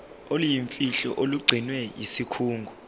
oluyimfihlo olugcinwe yisikhungo